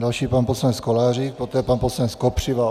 Další pan poslanec Kolářík, poté pan poslanec Kopřiva.